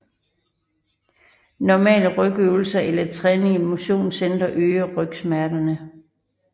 Normale rygøvelser eller træning i motionscentre øger rygsmerterne